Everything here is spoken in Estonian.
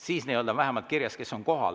Siis vähemalt on kirjas, kes on kohal.